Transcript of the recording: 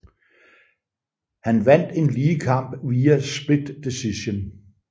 Han vandt en lige kamp via split decision